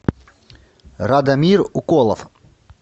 радомир уколов